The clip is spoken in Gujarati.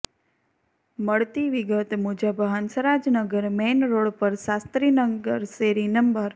મળતી વિગત મુજબ હંસરાજનગર મેઇન રોડ પર શાસ્ત્રીનગર શેરી નં